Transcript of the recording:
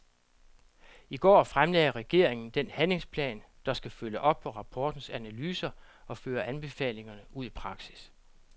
I går fremlagde regeringen den handlingsplan, der skal følge op på rapportens analyser og føre anbefalingerne ud i praksis.